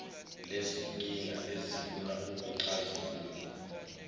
lezinkinga ezifuna ukuxazululwa